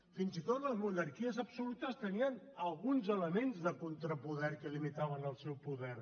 fins i tot les monarquies absolutes tenien alguns elements de contrapoder que limitaven el seu poder